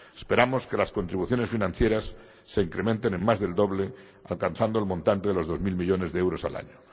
Esperamos que las contribuciones financieras se incrementen en más del doble, alcanzando el montante de los dos mil millones de euros al año.